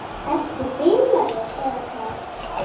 Ertu bilaður eða hvað?